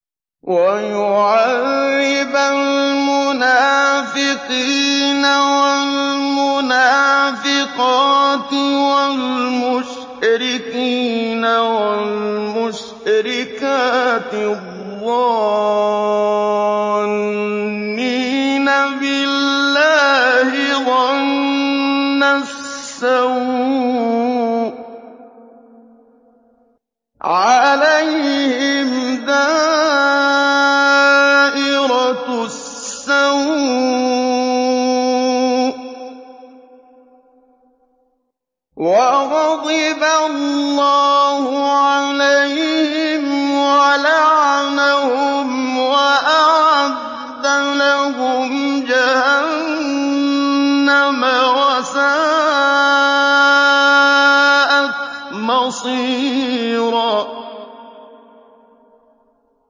وَيُعَذِّبَ الْمُنَافِقِينَ وَالْمُنَافِقَاتِ وَالْمُشْرِكِينَ وَالْمُشْرِكَاتِ الظَّانِّينَ بِاللَّهِ ظَنَّ السَّوْءِ ۚ عَلَيْهِمْ دَائِرَةُ السَّوْءِ ۖ وَغَضِبَ اللَّهُ عَلَيْهِمْ وَلَعَنَهُمْ وَأَعَدَّ لَهُمْ جَهَنَّمَ ۖ وَسَاءَتْ مَصِيرًا